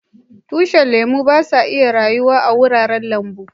Tushin lemu ba su rayuwa a'wuraren lambu.